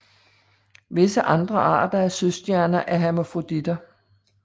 Visse andre arter af søstjerner er hermafroditer